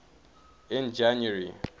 in january